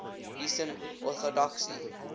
eastern orthodoxy